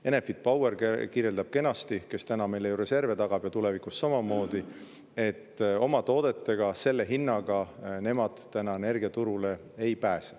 Enefit Power, kes meile reserve tagab täna ja tulevikus samamoodi, kirjeldab kenasti, et oma toodetega selle hinnaga nemad energiaturule täna ei pääse.